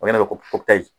O de bɛ kopitali